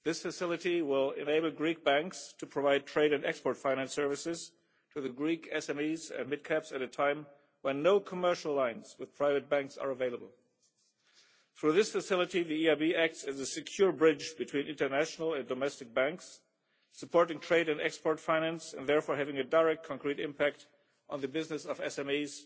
This facility will enable Greek banks to provide trade and export finance services to Greek SMEs and mid cap companies at a time when no commercial lines with private banks are available. Through this facility the EIB acts as a secure bridge between international and domestic banks, supporting trade and export finance and therefore having a direct concrete impact on the business of